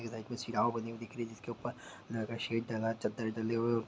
इधर कोई शिराओ बनी हुई दिख रही है जिसके ऊपर लोहे का शेड डला चद्दर डले हुए है।